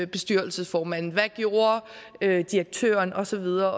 bestyrelsesformanden hvad gjorde direktøren og så videre